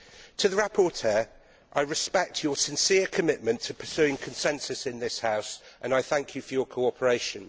To the rapporteur, I respect your sincere commitment to pursuing consensus in this House and I thank you for your cooperation.